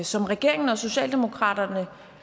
som regeringen og socialdemokratiet